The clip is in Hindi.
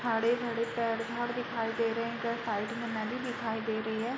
हरे-भरे पेड़ घर दिखाई दे रहे हैं। इधर साइड मे नदी दिखाई दे रही है।